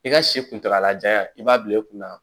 I ka si kuntagalajan ya i b'a bila i kunna